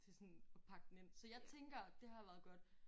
Til sådan at pakke den ind så jeg tænker at det har været godt